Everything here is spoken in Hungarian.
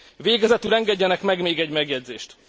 Végezetül engedjenek meg még egy megjegyzést.